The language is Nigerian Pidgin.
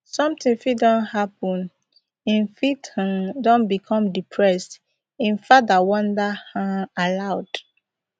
sometin fit don happen im fit um don become depressed im father wonder um aloud